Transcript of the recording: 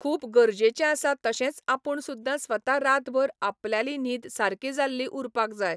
खूब गरजेचें आसा तशेंच आपूण सुद्दा स्वता रातभर आपल्याली न्हीद सारकी जाल्ली उरपाक जाय.